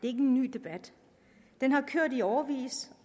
er en ny debat den har kørt i årevis